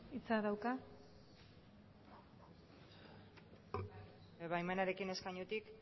hitz dauka bai baimenarekin eskainutik